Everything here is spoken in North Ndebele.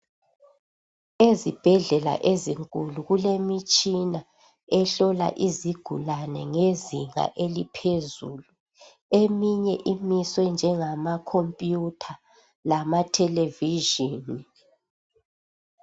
Ezibhedlela ezinkulu kulemitshina ehlola izigulane ngezinga eliphezulu. Eminye imiswe njengama computer lama television